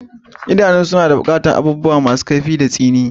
Idanu suna buƙatar nisa da abubuwa masu kaifi da tsini.